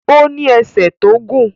Ó ní ẹsẹ̀ tó gùn